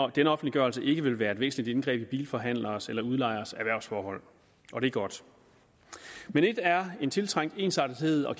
at den offentliggørelse ikke vil være et væsentligt indgreb i bilforhandleres eller udlejeres erhvervsforhold og det er godt men ét er en tiltrængt ensartethed og